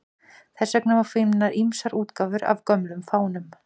Þess vegna má finna ýmsar útgáfur af gömlum fánum.